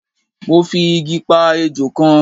mo fi Igi pa ejò kan